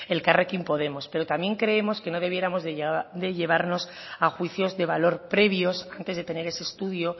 elkarrekin podemos pero también creemos que no debiéramos de llevarnos a juicios de valor previos antes de tener ese estudio